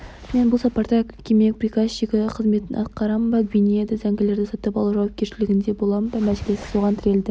мен бұл сапарда кеме приказчигі қызметін атқарамын ба гвинеяда зәңгілерді сатып алу жауапкершілігінде боламын ба мәселе соған тірелді